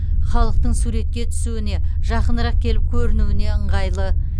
халықтың суретке түсуіне жақынырақ келіп көрінуіне ыңғайлы